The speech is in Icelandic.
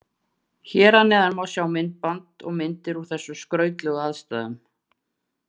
Hér að neðan má sjá myndband og myndir úr þessum skrautlegu aðstæðum.